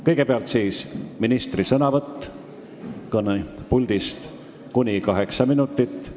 Kõigepealt on ministri sõnavõtt kõnepuldist, mis kestab kuni kaheksa minutit.